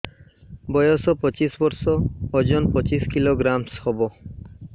ବୟସ ପଚିଶ ବର୍ଷ ଓଜନ ପଚିଶ କିଲୋଗ୍ରାମସ ହବ